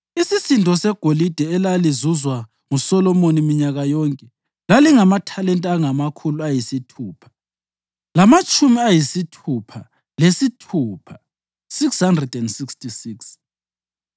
Isisindo segolide elalizuzwa nguSolomoni minyaka yonke lalingamathalenta angamakhulu ayisithupha lamatshumi ayisithupha lesithupha (666),